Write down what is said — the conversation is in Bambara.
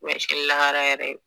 ubiyɛn sini lahara yɛrɛ